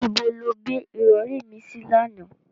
Ibo lo gbé ìrọ̀rí mi sí lánàá?